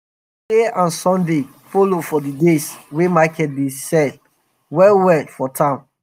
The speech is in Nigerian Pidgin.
friday and sunday follow for d days wey market dey dey sell well well for town.